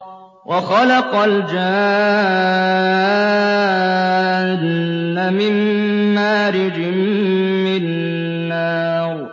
وَخَلَقَ الْجَانَّ مِن مَّارِجٍ مِّن نَّارٍ